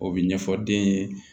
O bɛ ɲɛfɔ den ye